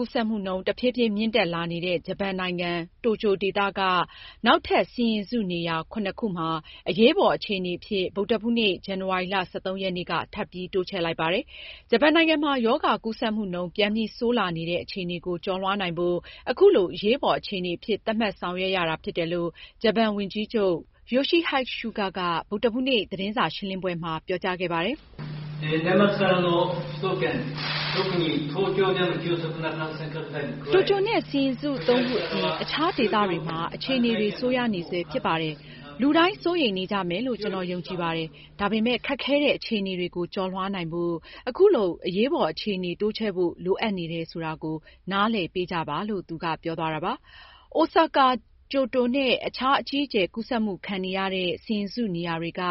ကူးစက်မှုနှုန်း တဖြည်းဖြည်းမြင့်တက်လာနေတာကြောင့် ဂျပန်နိုင်ငံ တိုကျိုဒေသက နောက်ထပ် စီရင်စုနေရာ ခုမှာ အရေးပေါ်အခြေအနေအဖြစ် ဗုဒ္ဓဟူးနေ့ ဇန်နဝါရီလ ၁၃ ရက်နေ့က ထပ်ပြီး တိုးချဲ့လိုက်ပါတယ်။ ဂျပန်နိုင်ငံမှာ ရောဂါကူးစက်မှုနှုန်း ပြန်ပြီးဆိုးလာနေတဲ့ အခြေအနေကို ကျော်လွှားနိုင်ဖို့ အခုလို အရေးပေါ်အခြေအနေအဖြစ် သတ်မှတ် ဆောင်ရွက်ရတာဖြစ်တယ်လို့ ဂျပန်ဝန်ကြီးချုပ် Yoshihide Suga က ဗုဒ္ဓဟူးနေ့ သတင်းစာရှင်းလင်းပွဲမှာ ပြောကြားခဲ့ပါတယ်။ "တိုကျိုနဲ့ စီရင်စု ခုအပြင် အခြားဒေသတွေမှာ အခြေအနေတွေ ဆိုးရွားနေဆဲဖြစ်ပါတယ်။ လူတိုင်း စိုးရိမ်နေကြမယ်လို့ ကျနော် ယုံကြည်ပါတယ်။ ဒါပေမယ့် ခက်ခဲတဲ့အခြေအနေတွေကို ကျော်လွှားနိုင်ဖို့ လိုအပ်နေတယ်ဆိုတာကို နားလည်ပေးကြပါ။" အိုဆာကာ၊ ကျိုတိုနဲ့ အခြား အကြီးအကျယ် ကူးစက်မှုခံနေရတဲ့ စီရင်စုနေရာတွေက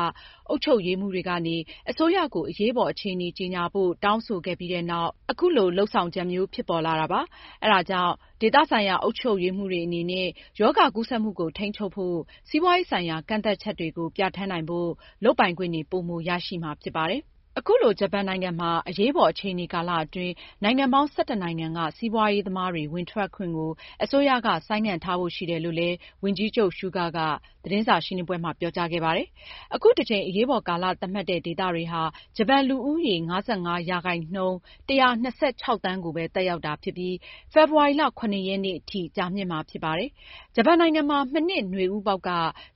အုပ်ချုပ်ရေးမှူးတွေကနေ အစိုးရကို အရေးပေါ် အခြေအနေကြေညာဖို့ တောင်းဆိုခဲ့ပြီးနောက် အခုလို အရေးပေါ်အခြေအနေသတ်မှတ်တဲ့ နေရာတွေကို တိုးချဲ့လိုက်တာဖြစ်ပါတယ်။ အဲဒါကြောင့် ဒေသဆိုင်ရာ အုပ်ချုပ်ရေးမှူးတွေအနေနဲ့ ရောဂါကူးစက်မှုကို ထိန်းချုပ်ဖို့ စီးပွားရေးဆိုင်ရာ ကန့်သတ်ချက်တွေကို ပြဌာန်းနိုင်ဖို့ လုပ်ပိုင်ခွင့်ပိုမို ရရှိမှာဖြစ်ပါတယ်။ အခုလို ဂျပန်နိုင်ငံမှာ အရေးပေါ် အခြေအနေကာလအတွင်း နိုင်ငံပေါင်း ၁၁ နိုင်ငံကစီးပွားရေးသမားတွေ ဝင်ထွက်ခွင့်ကို အစိုးရက ဆိုင်းငံ့ထားဖို့ရှိတယ်လို့ ဝန်ကြီးချုပ် Suga ကသတင်းစာရှင်းလင်းပွဲမှာ ပြောကြားခဲ့ပါတယ်။ အခုတကြိမ် အရေးပေါ်ကာလသတ်မှတ်တဲ့ ဒေသတွေဟာ ဂျပန်လူဦးရေ ၅၅% ၁၂၆သန်း ကိုပဲ သက်ရောက်တာဖြစ်ပြီး ဖေဖေါ်ဝါရီလ ၇ ရက်အထိကြာမြင့်မှာဖြစ်ပါတယ်။ ဂျပန်နိုင်ငံမှာ မနှစ်နွေဦးပေါက်က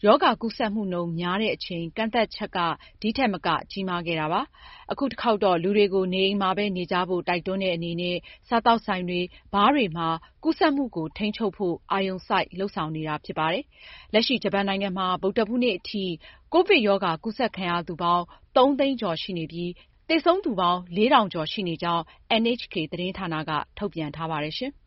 ရောဂါကူးစက်မှုနှုန်းများတဲ့အချိန် ကန့်သတ်ချက်က ဒီထက်မက ကြီးမားခဲ့တာပါ။ အခုတခေါက်ကတော့ လူတွေကို နေအိမ်မှာပဲ နေကြဖို့ တိုက်တွန်းတဲ့အနေနဲ့ စားသောက်ဆိုင်တွေ၊ ဘားတွေမှာ ကူးစက်မှုကို ထိန်းချုပ်ဖို့ အာရုံစိုက်လုပ်ဆောင်နေတာဖြစ်ပါတယ်။ လက်ရှိဂျပန်နိုင်ငံမှာ ဗုဒ္ဓဟူးနေ့ထိ ကိုဗစ်ရောဂါကူးစက်ခံရသူပေါင်း ၃၀၀၀၀၀ ကျော်ရှိနေပြီး သေဆုံးသူပေါင်း ၄၁၈၇ ထိရှိနေကြောင်း NHK သတင်းဌာနက ထုတ်ပြန်ကြေညာထားပါတယ်။